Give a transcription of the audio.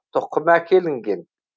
тұқым әкелінген